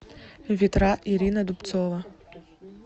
ветра ирина дубцова